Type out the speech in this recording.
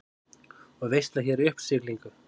Og veisla hér í uppsiglingu.